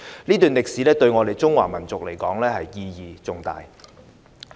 這段歷史對我們中華民族而言，意義重大。